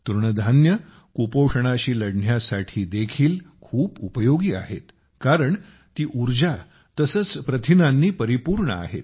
तृणधान्ये कुपोषणाशी लढण्यासाठी देखील खूप उपयोगी आहेत कारण ती ऊर्जा तसेच प्रथिनांनी परिपूर्ण आहेत